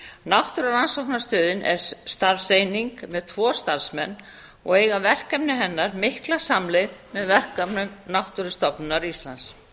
náttúrurannsóknastöðin er starfseining með tvo starfsmenn og eiga verkefni hennar mikla samleið með verkefnum náttúrufræðistofnunar íslands